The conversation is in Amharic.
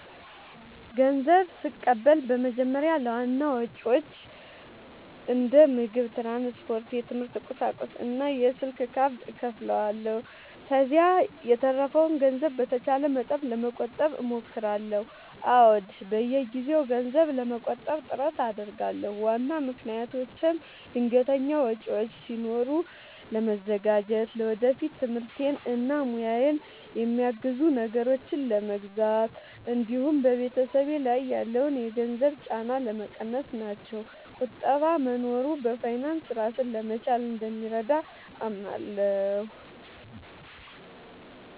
ንዘብ ስቀበል በመጀመሪያ ለዋና ወጪዎቼ እንደ ምግብ፣ ትራንስፖርት፣ የትምህርት ቁሳቁሶች እና የስልክ ካርድ እከፋፍለዋለሁ። ከዚያ የተረፈውን ገንዘብ በተቻለ መጠን ለመቆጠብ እሞክራለሁ። አዎ፣ በየጊዜው ገንዘብ ለመቆጠብ ጥረት አደርጋለሁ። ዋና ምክንያቶቼም ድንገተኛ ወጪዎች ሲኖሩ ለመዘጋጀት፣ ለወደፊት ትምህርቴን እና ሙያዬን የሚያግዙ ነገሮችን ለመግዛት እንዲሁም በቤተሰብ ላይ ያለውን የገንዘብ ጫና ለመቀነስ ናቸው። ቁጠባ መኖሩ በፋይናንስ ራስን ለመቻል እንደሚረዳ አምናለሁ።